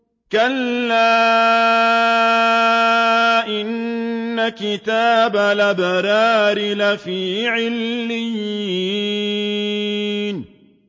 كَلَّا إِنَّ كِتَابَ الْأَبْرَارِ لَفِي عِلِّيِّينَ